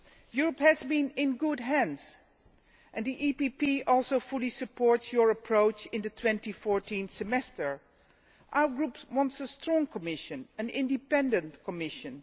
Europe has been in good hands and the EPP also fully supports your approach in the 2014 Semester. Our group wants a strong Commission, an independent Commission.